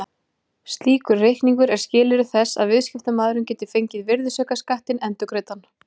Slíkur reikningur er skilyrði þess að viðskiptamaðurinn geti fengið virðisaukaskattinn endurgreiddan.